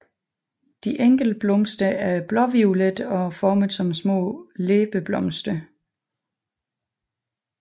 De enkelte blomster er blåviolette og formet som små læbeblomster